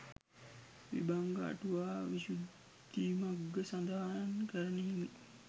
විභංග අටුවා විශුද්ධිමග්ග සඳහන් කරන හිමි